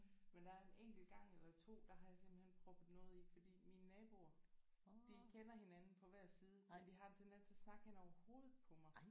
Men der er en enkelt gang eller 2 der har jeg simpelthen proppet noget i fordi mine naboer de kender hinanden på hver side og de har en tendens til at snakke hen over hovedet på mig